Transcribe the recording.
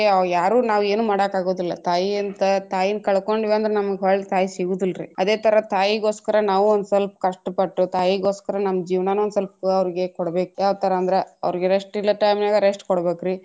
ಯಾರು ನಾವು ಏನು ಮಾಡಾಕ ಅಗುದಿಲ್ಲಾ ತಾಯಿಯಂತ ತಾಯಿನ್ ಕಳಕೊಂಡ್ವಿ ಅಂದ್ರ ನಮಗ ಒಳ್ಳ ತಾಯಿ ಸಿಗುದಿಲ್ರಿ ಅದೆ ತರ ತಾಯಿಗೋಸ್ಕರ ನಾವು ಒಂದ ಸ್ವಲ್ಪ ಕಷ್ಟ ಪಟ್ಟು ತಾಯಿಗೋಸ್ಕರ ನಮ್ಮ ಜೀವ್ನಾನು ಸ್ವಲ್ಪ ಅವ್ರಿಗೆ ಕೊಡಬೇಕ ಯಾವತರಾ ಅಂದ್ರ ಅವ್ರಿಗೆ rest ಇಲ್ಲದ time ನಾಗ rest ಕೊಡ್ಬೇಕ್ರೀ.